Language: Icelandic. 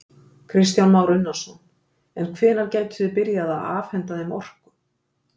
Kristján Már Unnarsson: En hvenær gætuð þið byrjað að afhenta þeim orku?